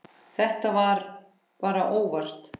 Þetta var bara óvart.